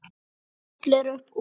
Hún skellir upp úr.